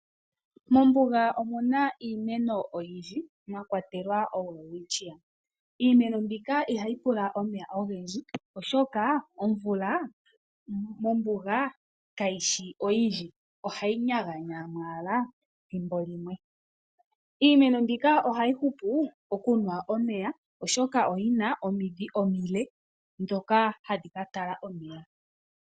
Mombuga omuna iimeno oyindji mwa kwatelwa oWelwitschia. Iimeno mbika ihayi pula omeya ogendji oshoka omvula mombuga kayi shi oyindji, ohayi nyaganyamo owala ethimbo limwe. Iimeno mbika ohayi hupu mokunwa omeya, oshoka oyi na omidhi omile ndhoka hadhi ka tala omeya mevi.